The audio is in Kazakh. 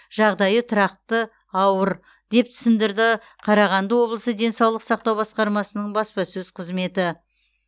жағдайы тұрақты ауыр деп түсіндірді қарағанды облысы денсаулық сақтау басқармасының баспасөз қызметі